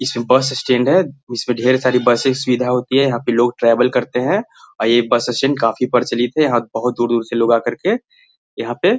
इसमें bus stand है इसमें ढेर सारी बसेस सुविधा होती है यहाँ पे लोग ट्रेवल करते हैं और ये बस स्टैंड काफी प्रचलित है यहाँ बहोत दूर-दूर से लोग आ करके यहाँ पे --